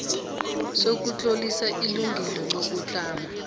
sokutlolisa ilungelo lokutlama